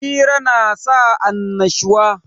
Hira na sa annashuwa